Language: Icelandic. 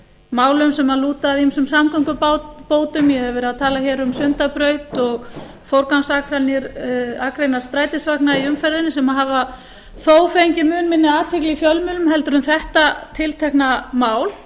málum sem lúta að ýmsum samgöngubótum ég hef verið að tala hér um sundabraut og forgangsakreinar strætisvagna í umferðinni sem hafa þó fengið mun minn athygli í fjölmiðlum heldur en þetta tiltekna mál